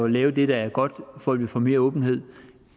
lave det der er godt for at vi får mere åbenhed